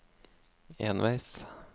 enveis